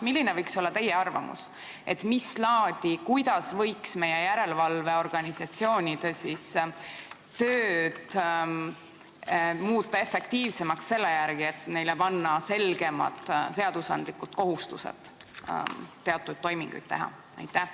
Milline võiks olla teie arvamus, kuidas võiks meie järelevalveorganisatsioonide tööd muuta efektiivsemaks, et panna neile selgemad seaduslikud kohustused teatud toiminguid teha?